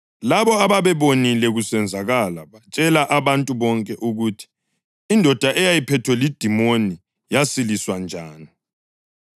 Labo ababebonile kusenzakala batshela abantu ukuthi indoda eyayiphethwe lidimoni yasiliswa njani.